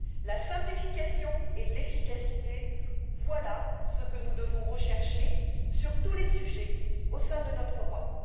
La simplification et l'efficacité, voilà ce que nous devons rechercher, sur tous les sujets, au sein de notre Europe.